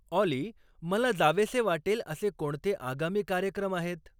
ऑली मला जावेसे वाटेल असे कोणते आगामी कार्यक्रम आहेत